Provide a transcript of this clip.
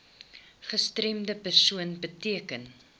gestremde persoon beteken